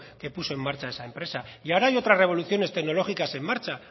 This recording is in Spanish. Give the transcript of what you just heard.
que puso en marcha esa empresa y ahora hay otras revoluciones técnicas en marcha